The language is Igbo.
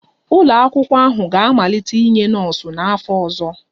Ụlọ akwụkwọ ahụ ga-amalite inye nọọsụ n'afọ ọzọ